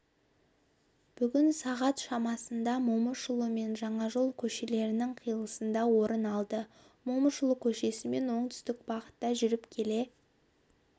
бүгін сағат шамасында момышұлы мен жаңажол көшелерінің қиылысында орын алды момышұлы көшесімен оңтүстік бағытта жүріп келе